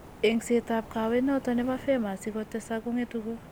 Engset ab kowet noton nebo femur asigo tesak , kongetu ko